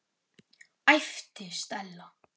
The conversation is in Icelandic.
æpti Stella.